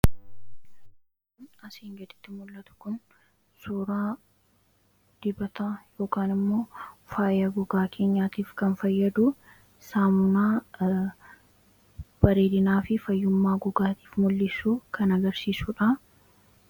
Asii gaditti kan mul'atu kun suuraa dibataa yookaan immoo faaya gogaa keenyaatiif kan fayyadu saamunaa bareedinaafi fayyummaa gogaatiif mul'isu kan agarsiisudha